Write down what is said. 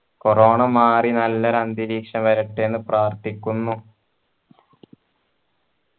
corona മാറി നല്ലൊരു അന്തരീക്ഷം വരട്ടെ എന്ന് പ്രാർത്ഥിക്കുന്നു